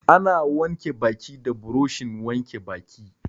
Ana wanke baki da buroshin wanke baki.